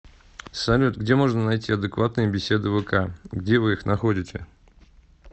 салют где можно найти адекватные беседы вк где вы их находите